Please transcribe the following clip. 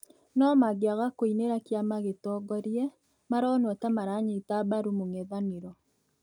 no mangĩaga kũĩnĩra kĩama gĩtongorĩe, maronwo ta maranyĩta mbarũ mũng'ethanĩro